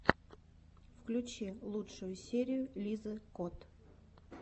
включи лучшую серию лизы кот